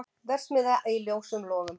Verksmiðja í ljósum logum